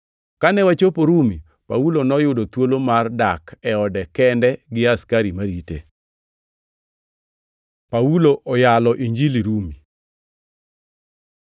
Kane wachopo Rumi, Paulo noyudo thuolo mar dak e ode kende gi askari marite. Paulo oyalo Injili Rumi